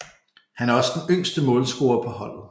Han er også den yngste målscorer på holdet